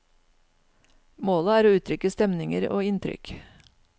Målet er å uttrykke stemninger og inntrykk.